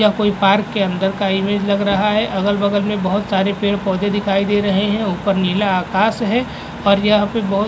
यह कोई पार्क के अंदर का इमेज लग रहा है। अगल -बगल में बहुत सारे पेड़-पौधे दिखाई दे रहे हैं। ऊपर नीला आकाश है और यहाँ पर बहुत --